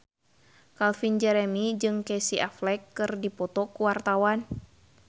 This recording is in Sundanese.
Calvin Jeremy jeung Casey Affleck keur dipoto ku wartawan